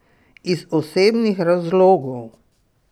Iz osebnih razlogov!